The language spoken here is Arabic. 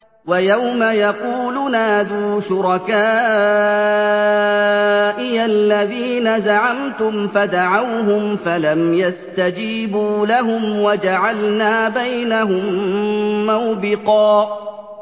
وَيَوْمَ يَقُولُ نَادُوا شُرَكَائِيَ الَّذِينَ زَعَمْتُمْ فَدَعَوْهُمْ فَلَمْ يَسْتَجِيبُوا لَهُمْ وَجَعَلْنَا بَيْنَهُم مَّوْبِقًا